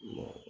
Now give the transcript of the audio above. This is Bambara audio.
Ma